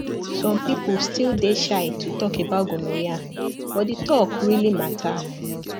some people still dey shy to talk about gonorrhea but the talk really matter